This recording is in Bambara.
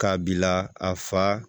K'a bila a fa